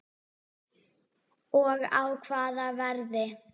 Og á hvaða verði?